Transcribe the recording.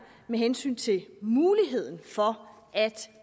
med hensyn til muligheden for at